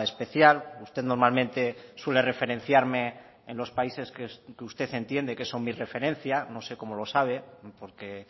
especial usted normalmente suele referenciarme en los países que usted entiende que son mi referencia no sé como lo sabe porque